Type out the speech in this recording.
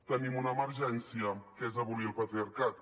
tenim una emergència que és abolir el patriarcat